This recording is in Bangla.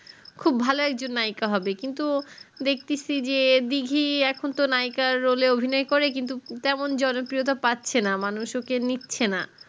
খুব ভালো একজন নায়েকা হবে কিন্তু দেখ্তিস ই যে দীঘি এখুন নায়িকার role এ অভিনয় করে কিন্তু তেমন জন প্রিয়তা পাচ্ছে না মানুষ ওকে নিচ্ছে না